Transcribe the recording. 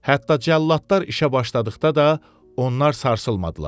Hətta cəlladlar işə başladıqda da onlar sarsılmadılar.